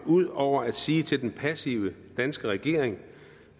ud over at sige til den passive danske regering